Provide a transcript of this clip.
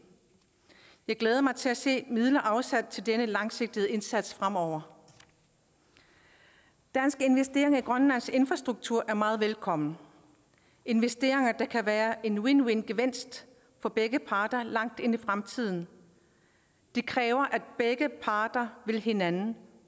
jeg glæder mig til at se midler afsat til denne langsigtede indsats fremover danske investeringer i grønlands infrastruktur er meget velkomne investeringer der kan være win win win for begge parter langt ind i fremtiden det kræver at begge parter vil hinanden